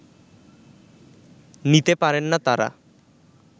নিতে পারেন না তারা